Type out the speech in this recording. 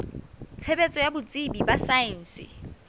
tshebetso ya botsebi ba saense